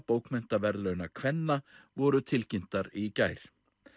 bókmenntaverðlauna kvenna voru tilkynntar í gær